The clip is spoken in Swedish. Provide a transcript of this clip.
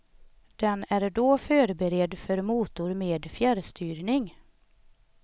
Den är då förberedd för motor med fjärrstyrning.